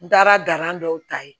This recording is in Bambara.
N taara gala dɔw ta ye